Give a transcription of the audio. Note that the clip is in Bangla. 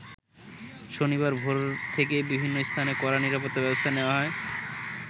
শনিবার ভোর থেকেই বিভিন্ন স্থানে কড়া নিরাপত্তা ব্যবস্থা নেয়া হয়।